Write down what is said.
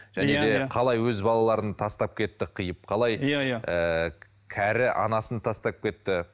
және де қалай өз балаларын тастап кетті қиып қалай иә иә ыыы кәрі анасын тастап кетті